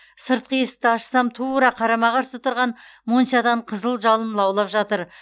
сыртқы есікті ашсам тура қарама қарсы тұрған моншадан қызыл жалын лаулап жатыр